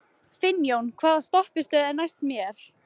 Finnjón, hvaða stoppistöð er næst mér?